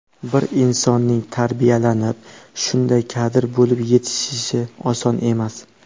Bir insonning tarbiyalanib, shunday kadr bo‘lib yetishishi oson emas.